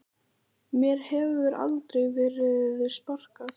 Mér hefur aldrei verið sparkað